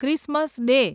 Christmas day